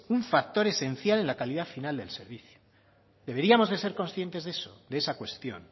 un factor esencial en la calidad final del servicio deberíamos de ser conscientes de eso de esa cuestión